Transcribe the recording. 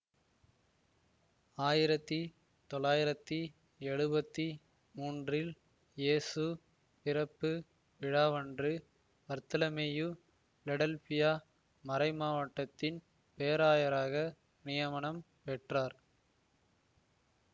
ஆயிரத்தி தொளாயிரத்தி எழுபத்தி மூன்றில் இயேசு பிறப்பு விழாவன்று பர்த்தலமேயு பிலடெல்பியா மறைமாவட்டத்தின் பேராயராக நியமனம் பெற்றார்